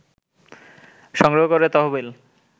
সংগ্রহ করে তহবিল